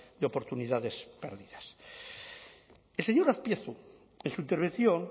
de oportunidades perdidas el señor azpiazu en su intervención